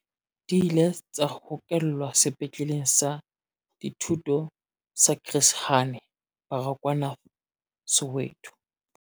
Di ile tsa hokelwa Sepetleleng sa Dithuto sa Chris Hani Baragwanath Soweto.